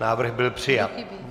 Návrh byl přijat.